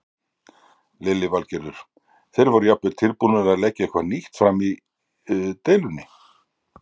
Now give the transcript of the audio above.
Lillý Valgerður: Þeir voru jafnvel tilbúnir að leggja eitthvað nýtt fram í deilunni?